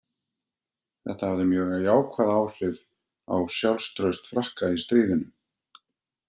Þetta hafði mjög jákvæð áhrif á sjálfstraust Frakka í stríðinu.